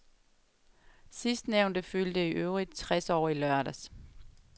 Sidstnævnte fyldte i øvrigt tres år i lørdags.